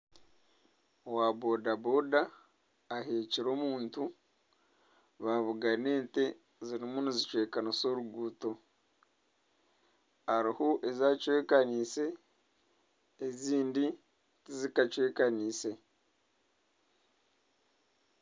Owa boda boda aheekire omuntu babugana ente ziriyo nizicwekanisa oruguuto hariho ezacwekaniise ezindi tizikachwekaniise